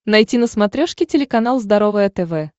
найти на смотрешке телеканал здоровое тв